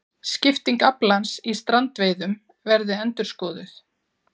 Skipting aflans í strandveiðum verði endurskoðuð